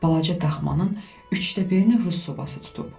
Balaca daxmanın üçdə birini rus sobası tutub.